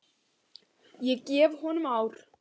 Ég gef honum ár.